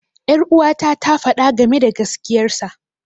Ƴaruwata ta faɗa game da gaskiyar sa.